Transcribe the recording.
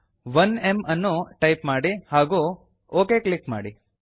1ಮ್ ಅನ್ನು ಟೈಪ್ ಮಾಡಿ ಹಾಗೂ ಒಕ್ ಕ್ಲಿಕ್ ಮಾಡಿ